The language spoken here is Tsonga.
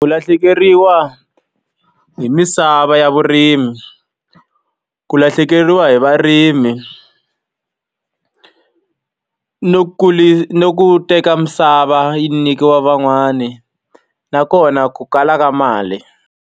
Ku lahlekeriwa hi misava ya vurimi, ku lahlekeriwa hi varimi, ni ni ku teka misava yi nyikiwa van'wani, na kona ku kala ka mali.